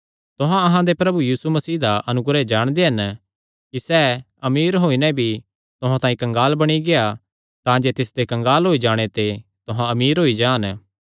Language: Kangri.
तुहां अहां दे प्रभु यीशु मसीह दा अनुग्रह जाणदे हन कि सैह़ अमीर होई नैं भी तुहां तांई कंगाल बणी गेआ तांजे तिसदे कंगाल होई जाणे ते तुहां अमीर होई जान